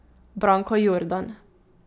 Branko Jordan.